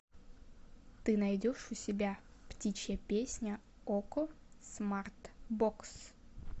ты найдешь у себя птичья песня окко смарт бокс